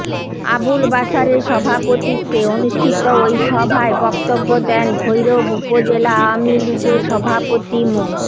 আবুল বাশারের সভাপতিত্বে অনুষ্ঠিত ওই সভায় বক্তব্য দেন ভৈরব উপজেলা আওয়ামী লীগের সভাপতি মো